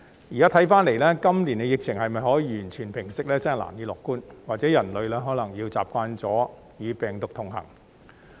現在看來，今年疫情能否完全平息，真的難以樂觀，或許人類可能要習慣與病毒同行。